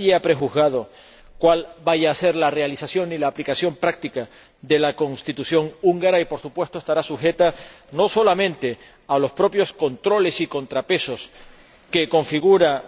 Nadie ha prejuzgado cuál vaya a ser la realización ni la aplicación práctica de la Constitución húngara, que, por supuesto, estará sujeta a los propios controles y contrapesos que configuran